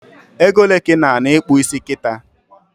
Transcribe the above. Egole ka ị na ana ikpụ isi kita?